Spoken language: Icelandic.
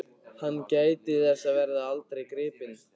Hann gæti þess að verða aldrei gripinn.